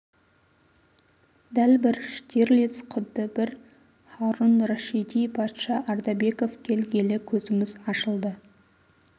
дәл бір штирлиц құдды бір һарон рашиди патша ардабеков келгелі көзіміз ашылды